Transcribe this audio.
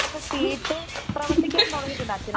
അതൊക്കെ കേട്ട് പ്രവർത്തിക്കാൻ തുടങ്ങിയിട്ടുണ്ട് അച്ഛനമ്മമാർ